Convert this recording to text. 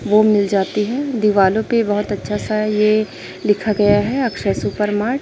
वो मिल जाती है दीवालों पे बहुत अच्छा सा है ये लिखा गया है अक्षय सुपरमार्ट ।